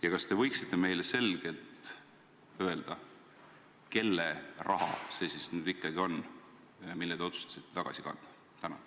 Ja kas te võiksite meile selgelt öelda, kelle raha see siis nüüd ikkagi on, mille te otsustasite tagasi kanda?